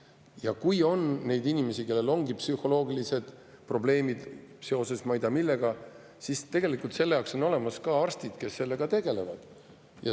Ja kui on neid inimesi, kellel ongi psühholoogilised probleemid seoses ma ei tea millega, siis tegelikult on olemas arstid, kes sellega tegelevad.